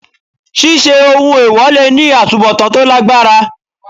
Ṣíṣe ohun èwọ̀ le ní àtubọ̀tán tó lágbára.